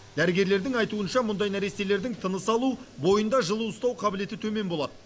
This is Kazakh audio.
дәрігерлердің айтуынша мұндай нәрестелердің тыныс алу бойында жылу ұстау қабілеті төмен болады